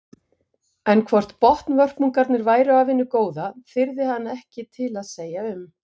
En hvort botnvörpungarnir væru af hinu góða þyrði hann ekki að segja til um.